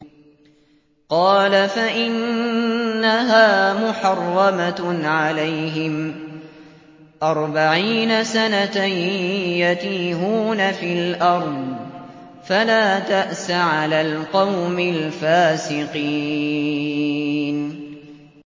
قَالَ فَإِنَّهَا مُحَرَّمَةٌ عَلَيْهِمْ ۛ أَرْبَعِينَ سَنَةً ۛ يَتِيهُونَ فِي الْأَرْضِ ۚ فَلَا تَأْسَ عَلَى الْقَوْمِ الْفَاسِقِينَ